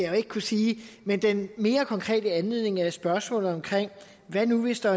jo ikke kunne sige men den mere konkrete anledning er spørgsmålet hvad nu hvis der